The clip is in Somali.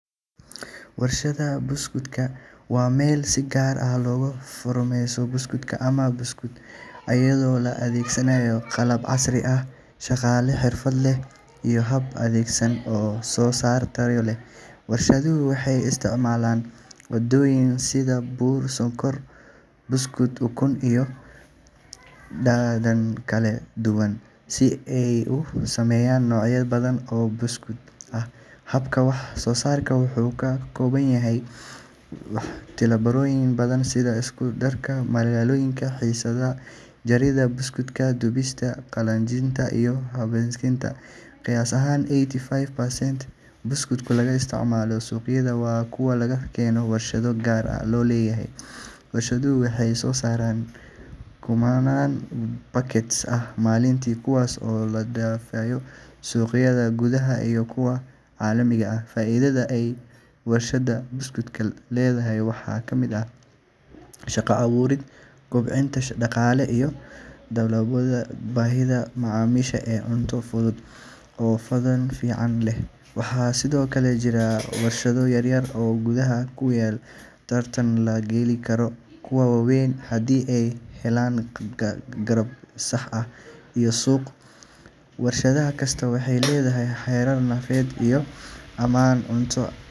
Warshadda biscuits waa meel si gaar ah loogu farsameeyo biscuits ama buskud, iyadoo la adeegsanayo qalab casri ah, shaqaale xirfad leh, iyo hab-nidaameysan oo soo saarid tayo leh. Warshaduhu waxay isticmaalaan maaddooyin sida bur, sonkor, subag, ukun, iyo dhadhan kala duwan si ay u sameeyaan noocyo badan oo biscuits ah. Habka wax-soo-saarku wuxuu ka kooban yahay tillaabooyin badan sida isku-darka maaddooyinka, qasida, jaridda qaabka, dubista, qaboojinta, iyo baakaynta. Qiyaastii eighty five percent biscuits laga isticmaalo suuqyada waa kuwa laga keeno warshado gaar loo leeyahay. Warshaduhu waxay soo saaraan kumanaan packets ah maalintii, kuwaas oo loo dhoofiyo suuqyada gudaha iyo kuwa caalamiga ah. Faa’iidada ay warshadda biscuits leedahay waxaa ka mid ah shaqo abuurid, kobcinta dhaqaalaha, iyo daboolidda baahida macaamiisha ee cunno fudud oo dhadhan fiican leh. Waxaa sidoo kale jira warshado yaryar oo gudaha ah kuwaas oo tartan la geli kara kuwa waaweyn haddii ay helaan qalab sax ah iyo suuq. Warshad kastaa waxay leedahay heerar nadaafadeed iyo ammaan cunto.